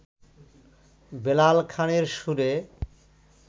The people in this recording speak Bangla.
বেলাল খানের সুরে